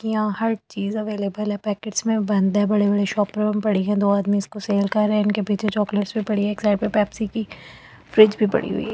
हर चीज अवेलेबल है पैकेट्स में बंद है बड़े-बड़े शॉपिंग में पड़ी है दो आदमी उसको सेल कर रहे है उनके पीछे चॉकलेट्स भी पड़ी है एक साइड पर पेप्सी की फ्रिज भी पड़ी हुई।